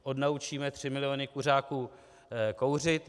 Odnaučíme tři miliony kuřáků kouřit.